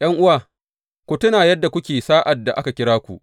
’Yan’uwa, ku tuna yadda kuke sa’ad da aka kira ku.